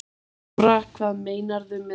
Lára: Hvað meinarðu með því?